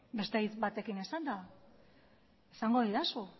beste hitz batekin esanda esango didazu